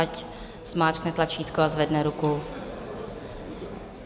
Nechť zmáčkne tlačítko a zvedne ruku.